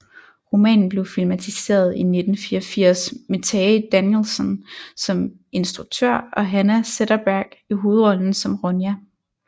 Romanen blev filmatiseret i 1984 med Tage Danielsson som instruktør og Hanna Zetterberg i hovedrollen som Ronja